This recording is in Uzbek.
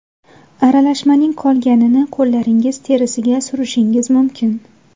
Aralashmaning qolganini qo‘llaringiz terisiga surishingiz mumkin.